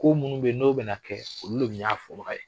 Ko minnu bɛ yen n'o bɛna kɛ; olu bɛ y'a fɔbaga ye